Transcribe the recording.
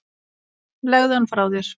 Legðu hann frá þér